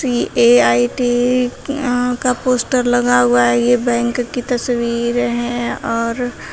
PAIT का poster लगा हुआ है ये बैंक की तस्वीर है और--